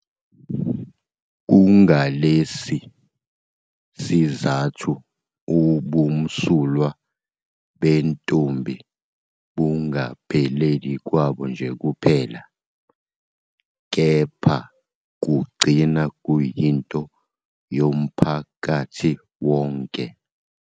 IHunter New England Health Service yenza isifundo ngokubaluleka ngezingozi zezimpilo zabahlali.